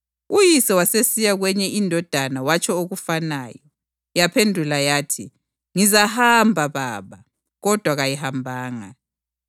Uyise wasesiya kwenye indodana watsho okufanayo. Yaphendula yathi, ‘Ngizahamba, baba,’ kodwa kayihambanga.